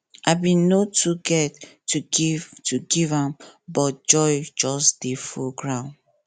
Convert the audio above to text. i been no too get to give to give am but joy just dey full groud